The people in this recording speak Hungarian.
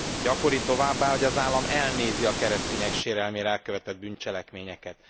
Gyakori továbbá, hogy az állam elnézi a keresztények sérelmére elkövetett bűncselekményeket.